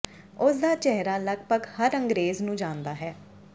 ਉਸ ਦਾ ਚਿਹਰਾ ਲਗਭਗ ਹਰ ਅੰਗਰੇਜ਼ ਨੂੰ ਜਾਣਦਾ ਹੈ